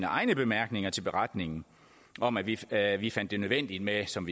egne bemærkninger til beretningen om at vi at vi fandt det nødvendigt med som